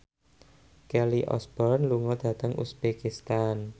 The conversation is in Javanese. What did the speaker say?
Kelly Osbourne lunga dhateng uzbekistan